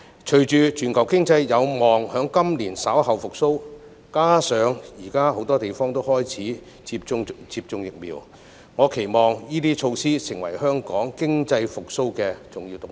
隨着全球經濟有望在今年稍後復蘇，加上現時很多地方都開始接種疫苗，我期望這些措施能夠成為香港經濟復蘇的重要動力。